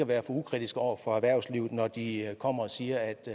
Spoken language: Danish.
være for ukritiske over for erhvervslivet når de kommer og siger at de